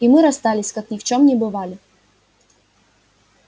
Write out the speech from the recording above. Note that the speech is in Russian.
и мы расстались как ни в чём не бывали